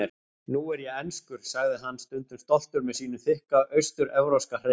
Nú er ég enskur, sagði hann stundum stoltur með sínum þykka austur-evrópska hreim.